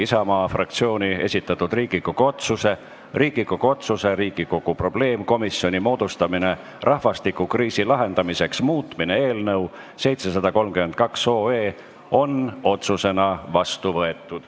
Isamaa fraktsiooni esitatud Riigikogu otsuse "Riigikogu otsuse "Riigikogu probleemkomisjoni moodustamine rahvastikukriisi lahendamiseks" muutmine" eelnõu 732 on otsusena vastu võetud.